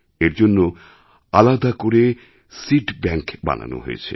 এর জন্য আলাদা করে সিড ব্যাংক বানানো হয়েছে